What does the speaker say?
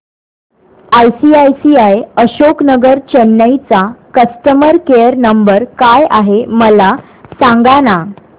ICICI Ashok Nagar Chennai चा customer care number काय आहे मला सांगाना